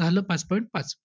पाच point पाच.